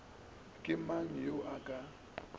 ke mang yo a ka